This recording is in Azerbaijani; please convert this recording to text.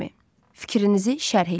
Fikrinizi şərh eləyin.